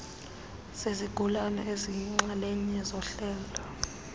zezigulana eziyinxalenye yohlelo